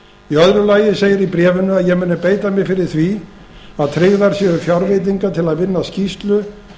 í öðru lagi segir í bréfinu að ég muni beita mér fyrir því að tryggðar séu fjárveitingar til að vinna skýrslu